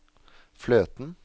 fløten